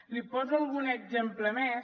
li poso algun exemple més